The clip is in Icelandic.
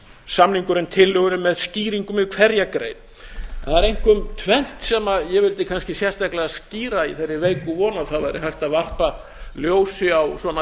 samningurinn tillögunni með skýringum við hverja grein það er einkum tvennt sem ég vildi kannski sérstaklega skýra í þeirri veiku von að það væri hægt að varpa ljósi á svona